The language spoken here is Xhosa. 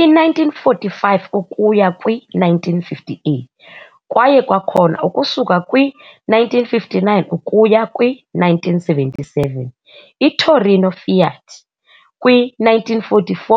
I-1945 ukuya kwi-1958 kwaye kwakhona ukusuka kwi-1959 ukuya kwi-1977, "iTorino FIAT" kwi-1944,